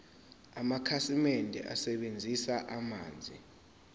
amakhasimende asebenzisa amanzi